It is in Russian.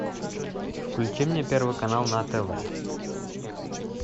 включи мне первый канал на тв